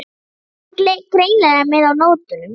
En þú ert greinilega með á nótunum.